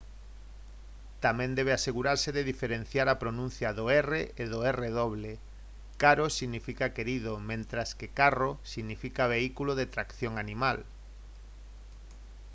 tamén debe asegurarse de diferenciar a pronuncia do r e do rr caro significa querido mentres que carro significa vehículo de tracción animal